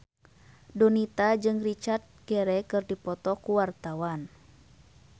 Donita jeung Richard Gere keur dipoto ku wartawan